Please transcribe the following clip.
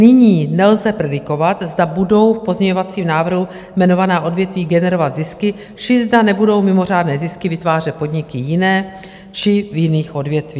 Nyní nelze predikovat, zda budou v pozměňovacím návrhu jmenovaná odvětví generovat zisky, či zda nebudou mimořádné zisky vytvářet podniky jiné či v jiných odvětvích.